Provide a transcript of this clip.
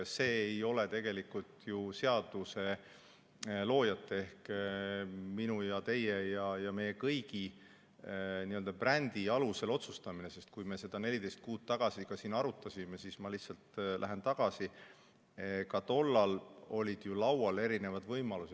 See ei ole tegelikult ju seaduseloojate ehk minu ja teie ja meie kõigi n-ö brändi alusel otsustamine, sest kui me seda 14 kuud tagasi siin arutasime, siis, ma lihtsalt lähen ajas tagasi, olid ka laual erinevad võimalused.